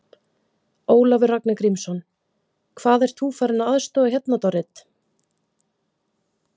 Ólafur Ragnar Grímsson: Hvað, ert þú farin að aðstoða hérna, Dorrit?